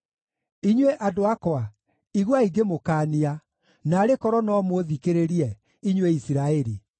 “Inyuĩ andũ akwa, iguai ngĩmũkaania, naarĩ korwo no mũũthikĩrĩrie, inyuĩ Isiraeli!